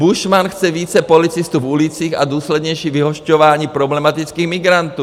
Buschmann chce více policistů v ulicích a důslednější vyhošťování problematických migrantů.